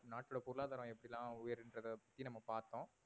நாட்டோட பொருளாதாரம் எப்படில்லாம் உயருன்றத பத்தி நாம பாத்தோம்